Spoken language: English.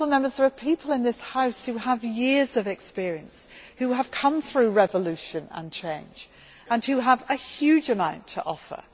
There are people in this House who have years of experience, who have come through revolution and change and who have a huge amount to offer.